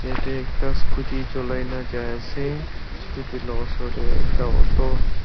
yaete ekta scooty cholai na jaiase scooty la osor tae ekta auto --